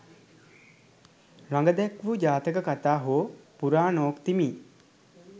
රඟ දැක්වූ ජාතක කතා හෝ පුරාණෝක්ති මි